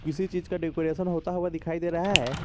किसी चीज का डेकोरेशन होता हुआ दिखाई दे रहा है।